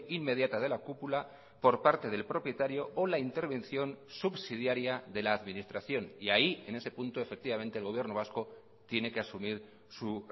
inmediata de la cúpula por parte del propietario o la intervención subsidiaria de la administración y ahí en ese punto efectivamente el gobierno vasco tiene que asumir su